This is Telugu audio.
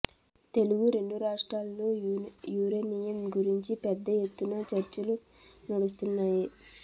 తెలుగు రెండు రాష్ట్రాల్లో యురేనియం గురించి పెద్ద ఎత్తున చర్చలు నడుస్తున్నాయి